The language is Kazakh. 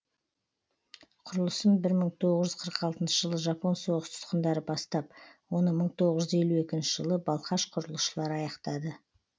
құрылысын бір мың тоғыз жүз қырық алтыншы жылы жапон соғыс тұтқындары бастап оны бір мың тоғыз жүз елу екінші жылы балқаш құрылысшылар аяқтады